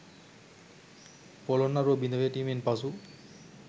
පොළොන්නරුව බිඳ වැටීමෙන් පසු